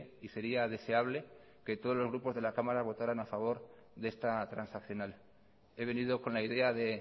y sería deseable que todos los grupos de la cámara votaran a favor de esta transaccional he venido con la idea de